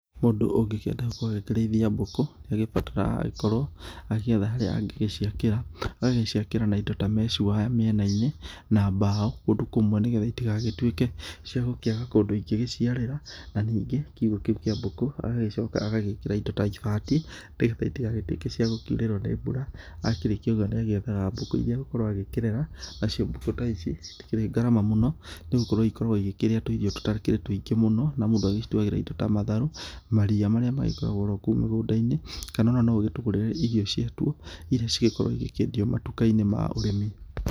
Mũndũ ũngĩkĩenda gũkorwo agĩkĩrĩithia mbũkũ nĩ agĩbataraga agagĩkorwo agĩgĩetha harĩa angĩgĩciakĩra, agagĩcikaĩra na indo ta mesh wire mĩena-inĩ na mbaũ kũndũ kũmwe nĩgetha itigagĩtuĩke cia gũkĩga kũndũ ingĩgĩciarĩra, na ningĩ kiugũ kĩu kĩ mbũkũ agagĩcoka agagĩkĩra kĩndũ ta ibati, nĩgetha itigagĩtuĩke cia gũkiurĩrwo nĩ mbura. Akĩrĩkia ũguo nĩ agĩethaga mbũkũ iria agũgĩkorwo agĩkĩrera nacio mbũkũ ta ici citikĩrĩ ngarama mũno nĩ gũkorwo ikoragwo ikĩrĩa tũirio tũtakĩrĩ tũingĩ mũno na mũndũ agĩtuagĩra indo ta matharũ, maria marĩa magĩkoragwo o ro kou mĩgũnda-inĩ kana no ũgĩtũgũrĩre irio ciatuo iria cigĩkoragwo igĩkĩendio matuka-inĩ ma ũrĩmi.